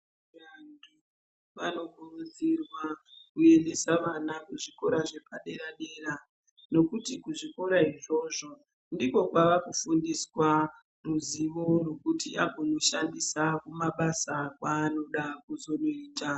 Vantu vanokurudzirwa kuendesa vana kuzvikora zvepadera-dera. Nokuti kuzvikora izvozvo ndiko kwavakufundiswa ruzivo rwokuti angonoshandisa kumabasa kwaanoda kuzonoita.